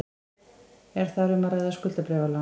Er þar um að ræða skuldabréfalán